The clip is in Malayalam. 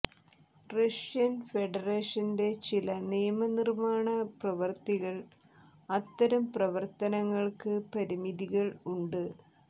റഷ്യൻ ഫെഡറേഷന്റെ ചില നിയമനിർമ്മാണ പ്രവൃത്തികൾ അത്തരം പ്രവർത്തനങ്ങൾക്ക് പരിമിതികൾ ഉണ്ട്